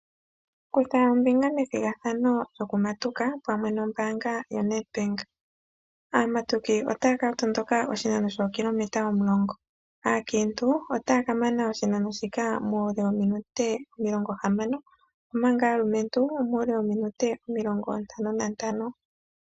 Kutha ombinga methigathano lyo kumatuka pamwe nombaanga yo Nedbank. Aamatuki otaya ka tondoka oshinano shookilometa omulongo. Aakintu, otaya ka mana oshinano shika muule wominute omilongo hamano, omanga aalumentu, omuule wominute omilongo ntano nantano.